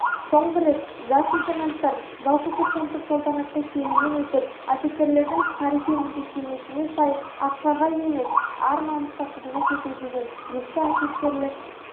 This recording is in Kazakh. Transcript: соңғы рет жас лейтенанттар жалпы курсанттық салтанатты шерумен өтіп офицерлердің тарихи міндеттемесіне сай ақшаға емес ар-намысқа қызмет ету деген ескі офицерлік